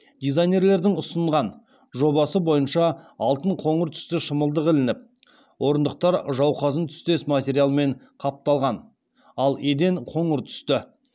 дизайнерлердің ұсынған жобасы бойынша алтын қоңыр түсті шымылдық ілініп орындықтар жауқазын түстес материалмен қапталған ал еден қоңыр түсті